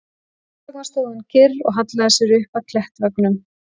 Þess vegna stóð hún kyrr og hallaði sér upp að klettaveggnum.